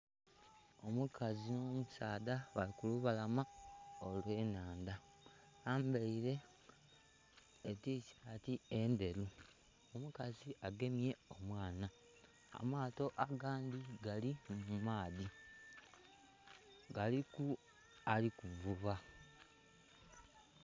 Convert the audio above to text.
Omukazi nh'omusaadha bali ku lubalama olw'ennhandha. Bambaile etishaati endheru. Omukazi agemye omwana. Amaato agandhi gali mu maadhi, galiku ali kuvuba